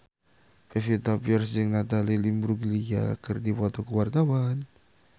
Pevita Pearce jeung Natalie Imbruglia keur dipoto ku wartawan